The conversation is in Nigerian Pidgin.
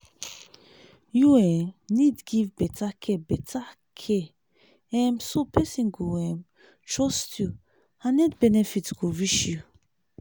you um need give better care better care um so person go um trust you and health benefit go reach you.